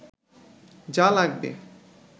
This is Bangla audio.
যা লাগবে